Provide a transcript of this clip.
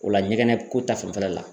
O la ɲɛgɛnɛ ko ta fanfɛla la.